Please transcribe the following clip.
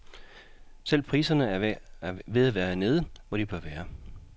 Selv priserne er ved at være nede, hvor de bør være.